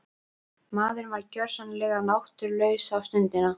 Maðurinn var gjörsamlega náttúrulaus þá stundina.